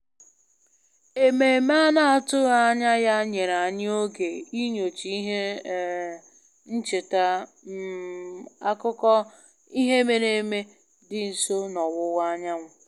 Ememe a na-atụghị anya ya nyere anyị oge inyocha ihe um ncheta um akụkọ ihe mere eme dị nso n'ọwụwa anyanwụ